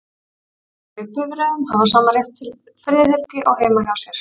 Farþegar í bifreiðum hafa sama rétt til friðhelgi og heima hjá sér.